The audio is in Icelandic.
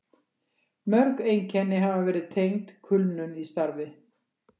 Mörg einkenni hafa verið tengd kulnun í starfi.